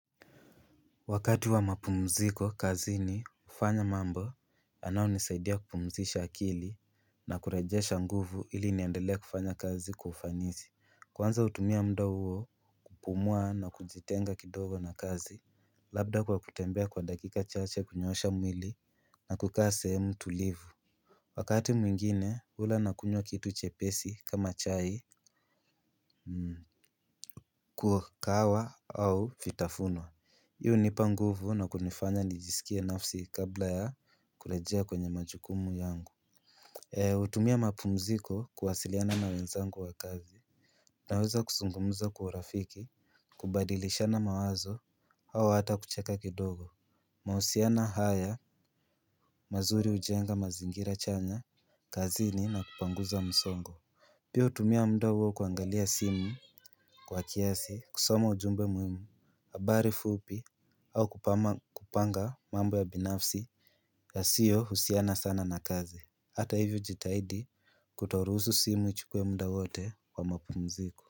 Wakati wa mapumziko, kazini hufanya mambo, yanayonisaidia kupumzisha akili na kurejesha nguvu ili niendelee kufanya kazi kwa ufanisi. Kwanza hutumia muda huo, kupumua na kujitenga kidogo na kazi, labda kwa kutembea kwa dakika chache kunyosha mwili na kukaa sehemu tulivu. Wakati mwingine, hula nakunywa kitu chepesi kama chai kahawa au vitafuno. Hii hunipa nguvu na kunifanya nijisikie nafsi kabla ya kurejea kwenye majukumu yangu hutumia mapumziko kuwasiliana na wenzangu wa kazi. Naweza kuzungumza kwa urafiki, kubadilishana mawazo, au hata kucheka kidogo. Mahusiano haya, mazuri ujenga mazingira chanya, kazini na kupanguza msongo. Pia hutumia muda huo kuangalia simu kwa kiasi kusoma ujumbe muimu. Habari fupi au kupanga mambo ya binafsi yasiyohusiana sana na kazi. Hata hivyo hujitahidi kutoruhusu simu ichukue muda wote wa mapumziko.